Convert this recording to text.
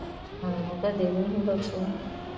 ਹਾਂ ਕਦੇ ਨਹੀਂ ਹੀ ਬਖਸ਼ਣਾ।